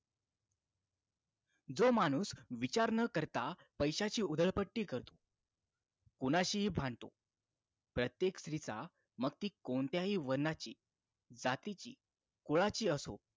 जो माणूस विचार न करता पैशाची उधळपट्टी करतो कोणाशीही भांडतो प्रत्येक स्त्रीचा मग ती कोणत्याही वनाची जातीची कुळाची असो